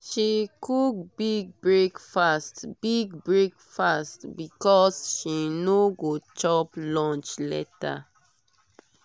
she cook big breakfast big breakfast because she no go chop lunch later.